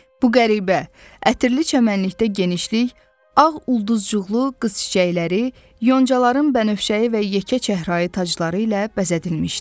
Bu qəribə, ətirli çəmənlikdə genişlik, ağ ulduzcuqlu qız çiçəkləri, yoncaların bənövşəyi və yekə çəhrayı tacları ilə bəzədilmişdi.